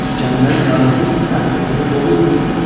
İsgəndər yaqutu hər evdə dolu.